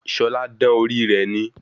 Ṣọlá dán orí rè ni